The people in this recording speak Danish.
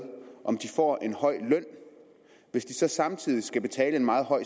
om de får en høj løn hvis de samtidig skal betale en meget høj